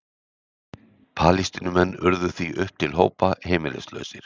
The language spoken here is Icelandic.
Palestínumenn urðu því upp til hópa heimilislausir.